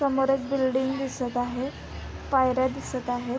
समोर एक बिल्डिंग दिसत आहे पायऱ्या दिसत आहे.